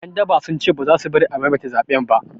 Ƴan daba sun ce baza su bari a maimaita zaɓen ba